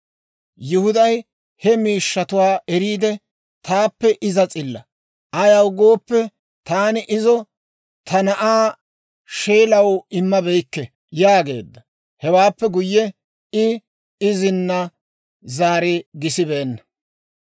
Yihuday he miishshatuwaa eriide, «Taappe iza s'illa; ayaw gooppe, taani izo ta na'aa Sheelaw immabeykke» yaageedda. Hewaappe guyye, I izina zaari gisibeenna.